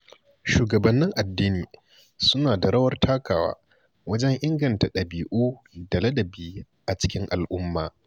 Shugabannin addini suna da rawar takawa wajen inganta dabi’u da ladabi a cikin al’umma.